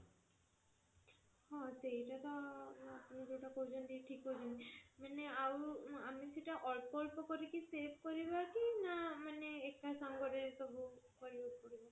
ହଁ ସେଇଟା ତ ଆପଣ ଜୋଉଟା କହୁଛନ୍ତି ଠିକ କହୁଛନ୍ତି ମାନେ ଆଉ ଆମେ ସେଇଟା ଅଳ୍ପ ଅଳ୍ପ କରିକି save କରିବା କି ନା ମାନେ ନା ଏକା ସାଙ୍ଗରେ ସବୁ